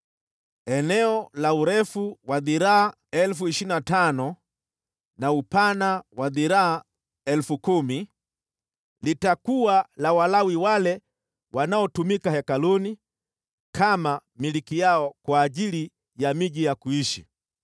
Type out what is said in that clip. Eneo la urefu wa dhiraa 25,000 na upana wa dhiraa 10,000 litakuwa la Walawi wale wanaotumika hekaluni, kama milki yao kwa ajili ya miji ya kuishi.